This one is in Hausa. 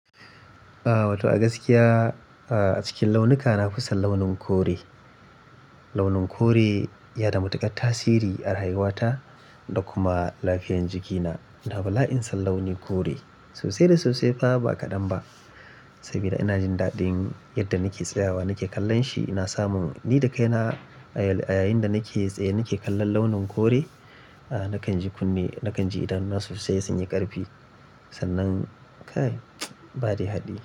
Ah. Wato a gaskiya a cikin launuka na fi son launin kore. Launin kore yana da matuƙar tasiri a rayuwata da kuma lafiyan jikina. Ina bala'in son launi kore, sosai da sosai fa ba kaɗan ba. Sabida ina jin daɗin yadda nake tsayawa nake kallon shi ina samun ni da kaina a yayin da nake tsaye nake kallon launin kore. Nakan ji kunne, nakan ji idanuna sosai sun yi ƙarfi. Sannan kai, ba dai haɗi.